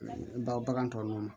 N ba bagan tɔ nunnu na